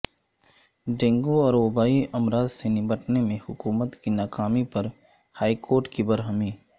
dengue اور وبائی امراض سے نمٹنے میں حکومت کی ناکامی پر ہائی کورٹ کی برہمی